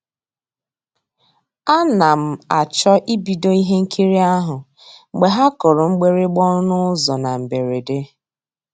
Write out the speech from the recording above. A na m àchọ́ ìbìdó ihe nkírí ahụ́ mgbe ha kùrù mgbị̀rị̀gbà ọnụ́ ụ́zọ́ na mbèredè.